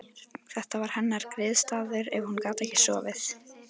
Þetta var hennar griðastaður ef hún gat ekki sofið.